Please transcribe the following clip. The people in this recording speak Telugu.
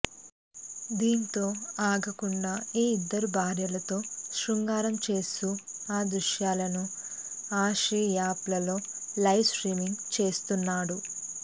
దీంతో ఆగకుండా ఈ ఇద్దరు భార్యలతో శృంగారం చేస్తూ ఆ దృశ్యాలను అశ్లీ యాప్ లలో లైవ్ స్ట్రీమింగ్ చేస్తున్నాడు